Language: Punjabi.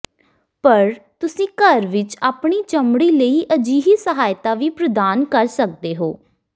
ਪਰ ਤੁਸੀਂ ਘਰ ਵਿੱਚ ਆਪਣੀ ਚਮੜੀ ਲਈ ਅਜਿਹੀ ਸਹਾਇਤਾ ਵੀ ਪ੍ਰਦਾਨ ਕਰ ਸਕਦੇ ਹੋ